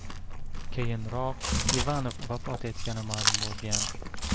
Keyinroq Ivanov vafot etgani ma’lum bo‘lgan.